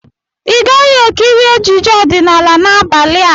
Ị gaghị-ekiri ejije ọdịnala n'abalị a!